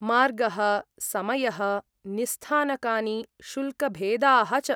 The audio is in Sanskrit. मार्गः, समयः, निस्स्थानकानि, शुल्कभेदाः च।